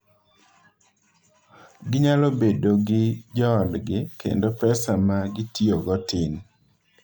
Ginyalo bedo gi joodgi, kendo pesa ma gitiyogo tin.